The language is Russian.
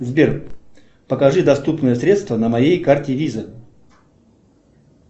сбер покажи доступные средства на моей карте виза